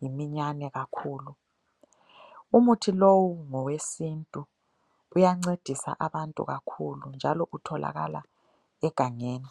yiminyane kakhulu. Umuthi lo ngowesintu uyancedisa abantu kakhulu njalo utholakala egangeni.